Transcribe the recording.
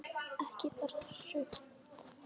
Ekki bara sumt.